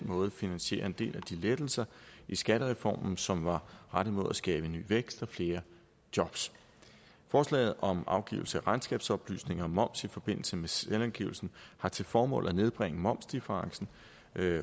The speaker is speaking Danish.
måde finansiere en del af de lettelser i skattereformen som var rettet mod at skabe ny vækst og flere jobs forslaget om afgivelse af regnskabsoplysninger om moms i forbindelse med selvangivelsen har til formål at nedbringe momsdifferencen